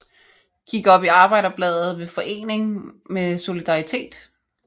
Gik op i Arbejderbladet ved forening med Solidaritet